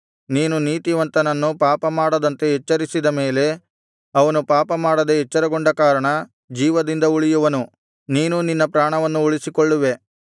ನೀನು ನೀತಿವಂತನನ್ನು ಪಾಪ ಮಾಡದಂತೆ ಎಚ್ಚರಿಸಿದ ಮೇಲೆ ಅವನು ಪಾಪಮಾಡದೆ ಎಚ್ಚರಗೊಂಡ ಕಾರಣ ಜೀವದಿಂದ ಉಳಿಯುವನು ನೀನೂ ನಿನ್ನ ಪ್ರಾಣವನ್ನು ಉಳಿಸಿಕೊಳ್ಳುವೆ